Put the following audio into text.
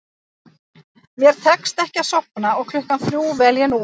Mér tekst ekki að sofna og klukkan þrjú vel ég númer